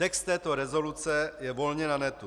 Text této rezoluce je volně na netu.